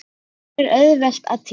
Hér er auðvelt að týnast.